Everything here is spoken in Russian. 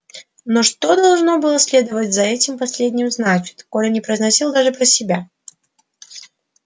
но что должно было следовать за этим последним значит коля не произносил даже про себя